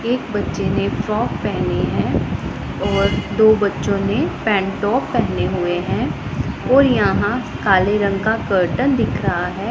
एक बच्चे ने फ्रॉक पहनी हैं और दो बच्चों ने पेंटॉप पहने हुए हैं और यहां काले रंग का कर्टन दिख रहा है।